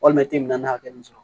Walima kile bin na hakɛ min sɔrɔ